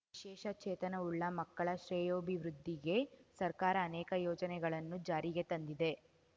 ವಿಶೇಷ ಚೇತನವುಳ್ಳ ಮಕ್ಕಳ ಶ್ರೇಯೋಭಿವೃದ್ಧಿಗೆ ಸರ್ಕಾರ ಅನೇಕ ಯೋಜನೆಗಳನ್ನು ಜಾರಿಗೆ ತಂದಿದೆ